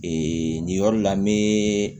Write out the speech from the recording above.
nin yɔrɔ la n bɛ